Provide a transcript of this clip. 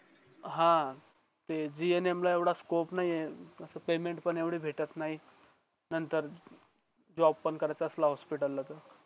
हां ते gum ला येवडा स्कॉप नाही आहे पेमेंट पण एवढे भेटत नाही नतंर जॉब पण करता असला हॉस्पिटल ला तर